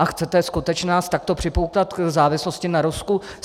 A chcete skutečně nás takto připoutat k závislosti na Rusku?